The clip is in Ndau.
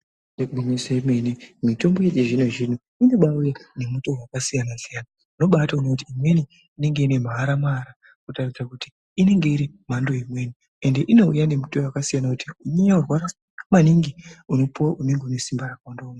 Igwinyiso yemene, mitombo yechizvino-zvino inobaauya nemitowo wakasiyana-siyana, unobaatoona kuti imweni inenge ine maara-maara, kutaridza kuti inenge iri mhando imweni, ende inouya nemitowo wakasiyana, kuti weinyanya kurwara maningi unopuwa unenge unesimba rakawandawo.